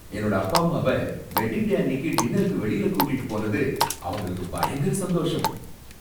என்னோட அப்பா அம்மாவ வெட்டிங் டே அன்னிக்கு டின்னருக்கு வெளியில கூட்டிட்டு போனது அவங்களுக்கு பயங்கர சந்தோஷம்.